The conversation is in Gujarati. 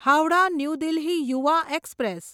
Howrah New Delhi Yuva express